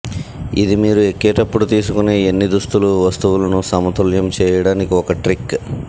ఇది మీరు ఎక్కేటప్పుడు తీసుకునే ఎన్ని దుస్తులు వస్తువులను సమతుల్యం చేయడానికి ఒక ట్రిక్